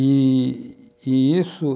E, e isso...